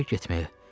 Evə getməyə.